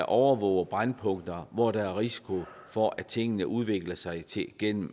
overvåger brændpunkter hvor der er risiko for at tingene udvikler sig til